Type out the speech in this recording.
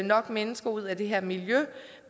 nok mennesker ud af det her miljø